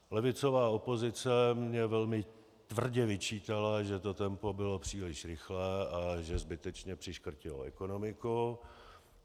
Levicová opozice mně velmi tvrdě vyčítala, že to tempo bylo příliš rychlé a že zbytečně přiškrtilo ekonomiku.